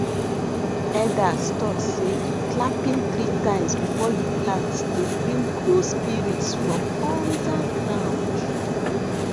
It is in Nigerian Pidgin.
elders talk say clapping three times before u plant dey bring good spirit from under ground